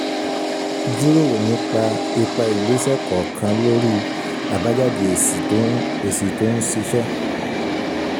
jíròrò nípa ipa ìgbèsẹ̀ kọ̀ọ̀kan lórí àbájáde èsì tó ń èsì tó ń ṣiṣẹ́.